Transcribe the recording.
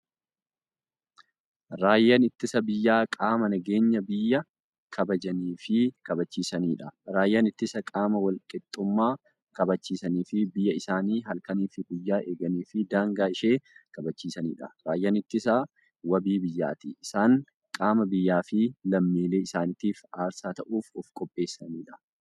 Raayyaan ittisa biyyaa qaama nageenya biyya kabajaniifi kabachiisaniidha. Raayyaan ittisaa qaama walqixxummaa kabachisaniifi biyyaa isaanii halkaniif guyyaa eeganiifi daangaa ishee kabachiisaniidha. Raayyaan ittisaa waabii biyyaati. Isaan qaama biyyaafi lammiilee isaanitiif aarsaa ta'uuf ofqopheessaniidha.